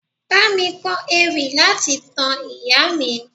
Bámi kọ ewì láti tan ìyàwó mi.